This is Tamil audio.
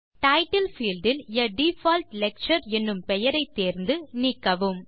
டைட்டில் பீல்ட் இல் ஆ டிஃபால்ட் லெக்சர் என்னும் பெயரை தேர்ந்து நீக்கவும்